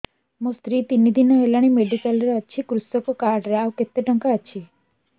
ମୋ ସ୍ତ୍ରୀ ତିନି ଦିନ ହେଲାଣି ମେଡିକାଲ ରେ ଅଛି କୃଷକ କାର୍ଡ ରେ ଆଉ କେତେ ଟଙ୍କା ଅଛି